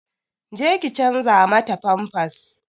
Je ki canza mata famfas!